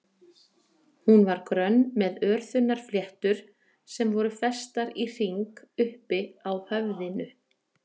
Hún var grönn með örþunnar fléttur sem voru festar í hring uppi á höfðinu.